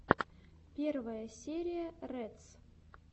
первая серия рэдс